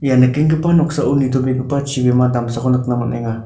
ia nikenggipa noksao nitobegipa chibima damsako nikna man·enga.